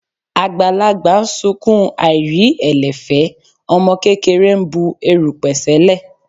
Àgbàlagbà ń sunkún aìrí ẹ̀lẹ̀ fẹ́, ọmọ kékeré ń bu erùpẹ̀ sẹ́lẹ̀.